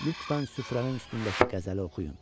Lütfən süfrənin üstündəki qəzəli oxuyun.